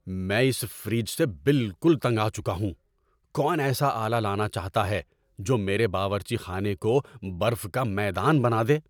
میں اس فریج سے بالکل تنگ آ چکا ہوں۔ کون ایسا آلہ لانا چاہتا ہے جو میرے باورچی خانے کو برف کا میدان بنا دے؟